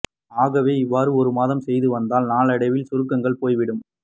ஆகவே இவ்வாறு ஒரு மாதம் செய்து வந்தால் நாளடைவில் சுருக்கங்கள் போய்விடும்